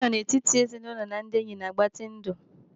Spending ample time among family and friends prolongs life.